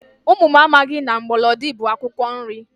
Ụmụ m amaghị na mgbọlọdị bụ akwụkwọ nri